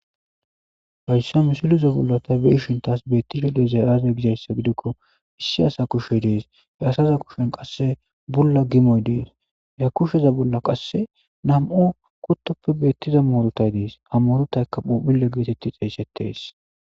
Hayssa misiliza bolla ta be'ishin tas beettizay aaze gizayssa gidikko issi asa kushey dees. He asaza kushen qasse bulla gimoy dees. Kusheza bolla qasse nam'u kuttoppe beettiza muurutay dees. Ha murotaykka phuuphulle geetetti xeeysetees.